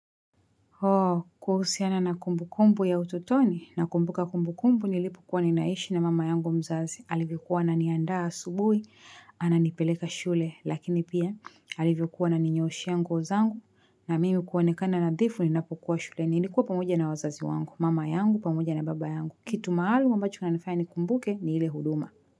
Hoo, kuhusiana na kumbukumbu ya utotoni, nakumbuka kumbukumbu nilipo kuwa ninaishi na mama yangu mzazi alivyokuwa ananiandaa subuhi ananipeleka shule, lakini pia alivyokuwa ananinyooshea nguo zangu na mimi kuonekana nadhifu ninapokua shuleni nilikuwa pamoja na wazazi wangu, mama yangu, pamoja na baba yangu. Kitu maalum ambacho kinanifaya nikumbuke ni ile huduma.